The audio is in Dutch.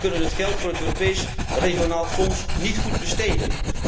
We kunnen het geld voor het Europees Regionaal Fonds niet goed besteden.